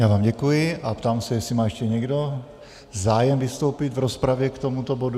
Já vám děkuji a ptám se, jestli má ještě někdo zájem vystoupit v rozpravě k tomuto bodu.